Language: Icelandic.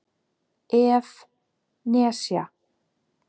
ef. nesja